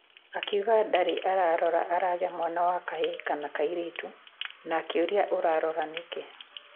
Akiuga ndarĩ arora aragĩa mwana wa kahĩĩ kana kairĩtu na akĩũria ũrarora nĩkĩ